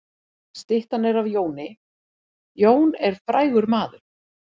Styttan er af Jóni. Jón er frægur maður.